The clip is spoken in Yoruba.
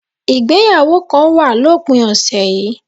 Ìgbéyàwó kan wà lópin ọ̀sẹ̀ yìí